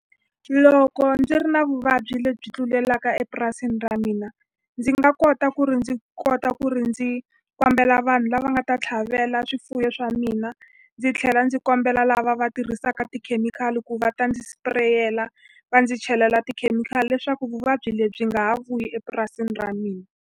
Loko ndzi ri na vuvabyi lebyi tlulelaka epurasini ra mina, ndzi nga kota ku ri ndzi kota ku ri ndzi kombela vanhu lava nga ta tlhavela swifuwo swa mina. Ndzi tlhela ndzi kombela lava va tirhisaka tikhemikhali ku va ta ndzi spray-eka, va ndzi chelela tikhemikhali leswaku vuvabyi lebyi byi nga ha vuyi epurasini ra mina.